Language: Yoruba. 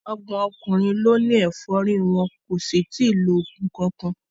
Ọgbọ̀n ọkùnrin ló ní efori wọn kò sì tí ì lo oògùn kankan.